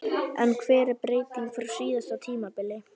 En hver er breytingin frá síðasta tímabili?